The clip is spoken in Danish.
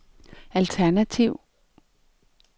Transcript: alternativ